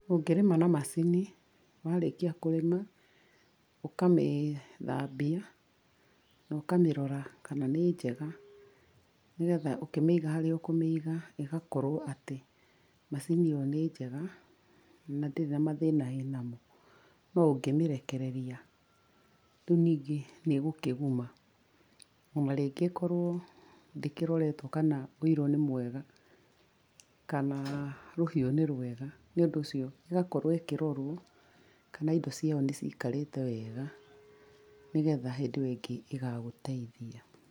Ũngĩrĩma na macini, warĩkia kũrĩma, ũkamĩthambia, na ũkamĩrora kana nĩ njega nĩgetha ũkĩmĩiga harĩa ũkũmĩiga ĩgĩ akorwo atĩ macini ĩyo nĩ njega na ndĩrĩ na mathĩna ĩna mo. No ũngĩmĩrekereria, rĩu ningĩ nĩ ĩgũkĩguma. Ona rĩngĩ ĩkorwo ndĩkĩroretwo kana ũiro nĩ mwega kana rũhiũ nĩ rwega. Nĩ ũndũ ũcio ĩgakorwo ĩkĩrorwo kana indo ciayo nĩ cikarĩte wega, nĩgetha hĩndĩ ĩyo ĩngĩ ĩgagũteithia.